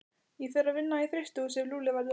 Ég fer að vinna í frystihúsi ef Lúlli verður þar.